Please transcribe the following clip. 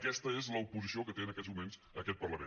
aquesta és l’oposició que té en aquests moments aquest parlament